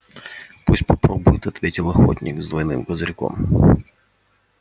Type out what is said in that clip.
пусть попробует ответил охотник с двойным козырьком